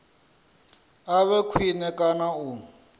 a vhe khwine kana u